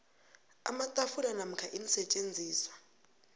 amatafula namkha iinsetjenziswa